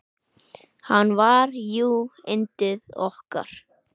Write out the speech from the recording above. Hann var jú yndið okkar.